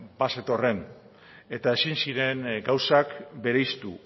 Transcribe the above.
bazetorren eta ezin ziren gauzak bereiztu